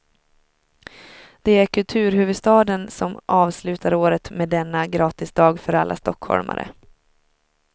Det är kulturhuvudstaden som avslutar året med denna gratisdag för alla stockholmare.